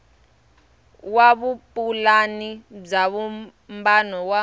wa vupulani bya vumbano wa